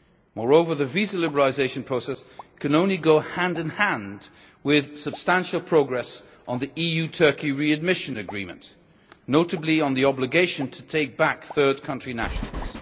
Moreover, the visa liberalisation process can only go hand in hand with substantial progress on the EU Turkey readmission agreement, notably on the obligation to take back third country nationals.